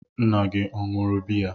Nna gị ọ ṅụrụ biya?